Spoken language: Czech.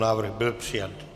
Návrh byl přijat.